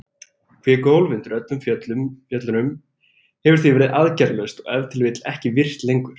Kvikuhólf undir fjöllunum hefur því verið aðgerðalaust og ef til vill ekki virkt lengur.